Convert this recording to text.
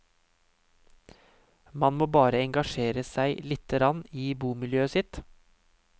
Man må bare engasjere seg littegrann i bomiljøet sitt.